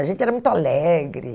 A gente era muito alegre.